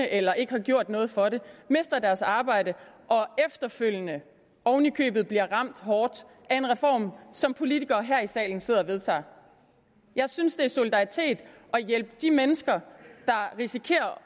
eller ikke har gjort noget for det mister deres arbejde og efterfølgende oven i købet bliver ramt hårdt af en reform som politikere her i salen sidder og vedtager jeg synes det er solidaritet at hjælpe de mennesker der risikerer